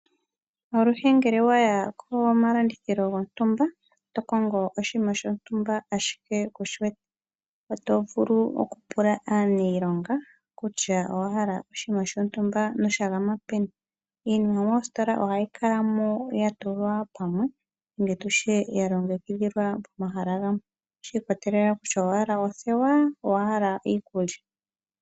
Aluhe ngele waya komalandithilo gontumba tokongo oshinima shontumba ashike kushiwete ,otovulu okupula nee aanilonga kutya owahala oshinima shontumba noshagama peni. Iinima moositola ohayi kalamo ya tulwa pamwe nenge tutye ya longekidhilwa pamwe ,shi ikwatelela kutya owahala othewa nenge owahala iikulya.